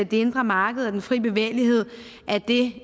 det indre marked og den frie bevægelighed er det